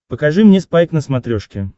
покажи мне спайк на смотрешке